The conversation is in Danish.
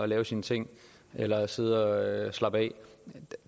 lave sine ting eller sidde og slappe af